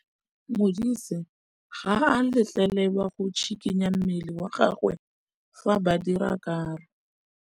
Modise ga a letlelelwa go tshikinya mmele wa gagwe fa ba dira karô.